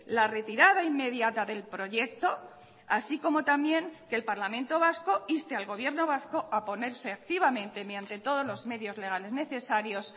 la retirada inmediata del proyecto así como también que el parlamento vasco inste al gobierno vasco a ponerse activamente mediante todos los medios legales necesarios